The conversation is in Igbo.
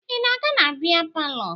Ị na-aga na bịa palọ?